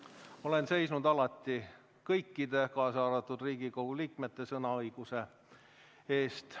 Olen seisnud alati kõikide, kaasa arvatud Riigikogu liikmete sõnaõiguse eest.